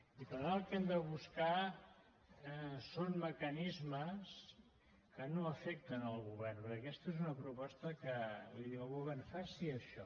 i per tant el que hem de buscar són mecanismes que no afectin el govern perquè aquesta és una proposta que li diu al govern faci això